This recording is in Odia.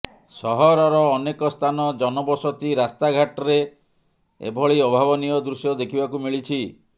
ସହରର ଅନେକ ସ୍ଥାନ ଜନବସତି ରାସ୍ତାଘାଟ୍ରେ ଏଭଳି ଅଭାବନୀୟ ଦୃଶ୍ୟ ଦେଖିବାକୁ ମିଳିଛି